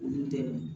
Olu dɛmɛ